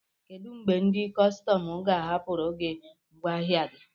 Kedụ mgbe ndị kọstọm ga-ahapụrụ gị ngwaahịa gi?